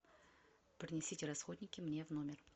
принесите расходники мне в номер